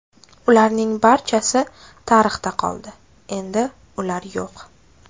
Ularning barchasi tarixda qoldi, endi ular yo‘q.